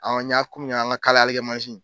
Awɔ n y'a kun an ka kalali kɛ masin.